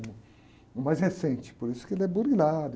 O, uh mais recente, por isso que ele é.